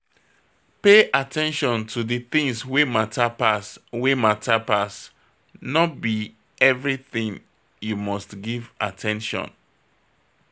Pay at ten tion to di things wey matter pass wey matter pass, no be everything you must give at ten tion